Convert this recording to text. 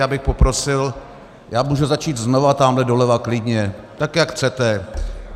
Já bych poprosil, já můžu začít znova tamhle doleva klidně, tak jak chcete.